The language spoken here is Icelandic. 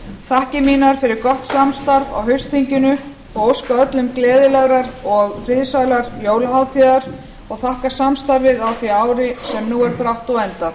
þakkir mínar fyrir gott samstarf á haustþinginu og óska öllum gleðilegrar og friðsællar jólahátíðar og þakka samstarfið á því ári sem nú er brátt á enda